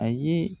A ye